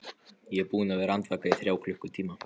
Ég er búinn að vera andvaka í þrjá klukkutíma.